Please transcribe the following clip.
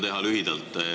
Püüan lühidalt teha.